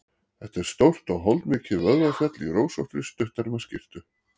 Þetta er stórt og holdmikið vöðvafjall í rósóttri, stutterma skyrtu.